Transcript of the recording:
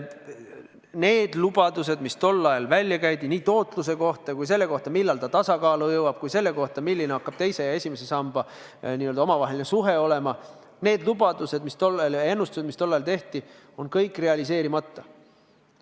Need lubadused, mis tol ajal välja käidi nii tootluse kohta kui selle kohta, millal süsteem tasakaalu jõuab, ja selle kohta, milline hakkab teise ja esimese samba omavaheline suhe olema – need lubadused ja ennustused, mis tol ajal tehti, on kõik realiseerimata.